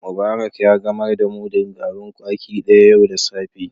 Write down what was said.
Mubarak ya gamar da mudun garin kwaki daya yau da safe.